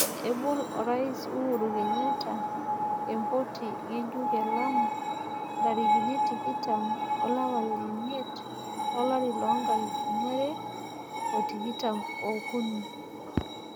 Ebol Orais Uhuru Kenyatta e mpoti ngejuk e Lamu ntarikin tikitam olapa leimiet olari loo nkalifuni are o tikitam okunii.